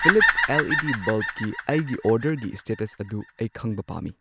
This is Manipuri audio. ꯐꯤꯂꯤꯞꯁ ꯑꯦꯜ ꯏ ꯗꯤ ꯕꯜꯕꯀꯤ ꯑꯩꯒꯤ ꯑꯣꯔꯗꯔꯒꯤ ꯁ꯭ꯇꯦꯇꯁ ꯑꯗꯨ ꯑꯩ ꯈꯪꯕ ꯄꯥꯝꯃꯤ꯫